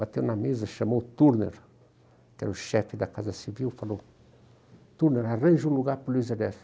Bateu na mesa, chamou o Turner, que era o chefe da Casa Civil, falou, Turner, arranja um lugar para o Luiz Ernest.